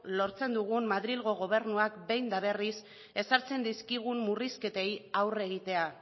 lortzen dugu madrilgo gobernuak behin eta berriz ezartzen dizkigun murrizketei aurre egitea